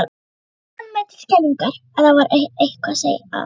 Ég fann mér til skelfingar að það var eitthvað að.